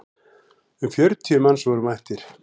Um fjörutíu manns voru mættir.